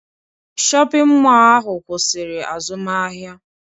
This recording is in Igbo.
Shọpịn mọọ ahụ kwụsịrị azụmahịa